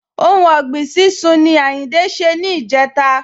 Ohun ọ̀gbìn sísún ni Àyìndé ṣe ni ìjẹta